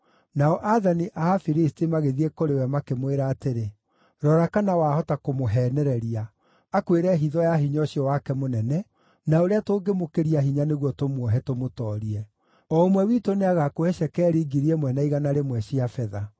Nao aathani a Afilisti magĩthiĩ kũrĩ we, makĩmwĩra atĩrĩ, “Rora kana wahota kũmũheenereria, akwĩre hitho ya hinya ũcio wake mũnene, na ũrĩa tũngĩmũkĩria hinya nĩguo tũmuohe, tũmũtoorie. O ũmwe witũ nĩagakũhe cekeri ngiri ĩmwe na igana rĩmwe cia betha. ”